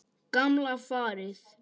Gamla farið.